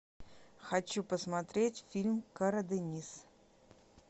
хочу посмотреть фильм карадениз